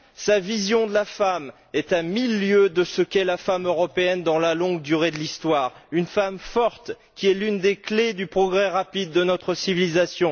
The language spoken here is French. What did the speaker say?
Sa vision de la femme est à mille lieues de ce qu'est la femme européenne dans la longue durée de l'Histoire une femme forte qui est l'une des clefs du progrès rapide de notre civilisation.